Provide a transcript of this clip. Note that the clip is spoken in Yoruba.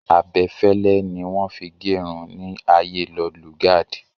Abẹfẹlẹ ni wọ́n fi gerun ní ayée Lord Lugard.